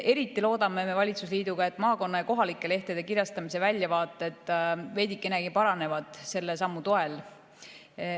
Eriti loodame valitsusliiduga, et maakonna- ja kohalike lehtede kirjastamise väljavaated veidikenegi paranevad selle sammu toel.